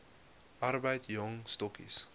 arbeid jong stokkies